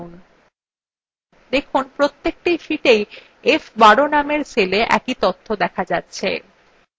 দেখুন প্রত্যেকটি sheetswe f12 নামের cellwe একই তথ্য আছে